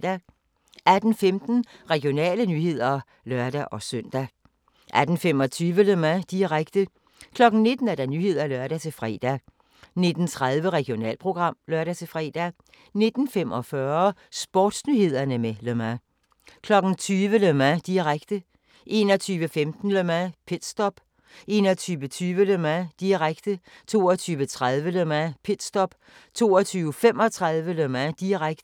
18:15: Regionale nyheder (lør-søn) 18:25: Le Mans, direkte 19:00: Nyhederne (lør-fre) 19:30: Regionalprogram (lør-fre) 19:45: Sportsnyhederne med Le Mans 20:00: Le Mans, direkte 21:15: Le Mans - pitstop 21:20: Le Mans, direkte 22:30: Le Mans - pitstop 22:35: Le Mans, direkte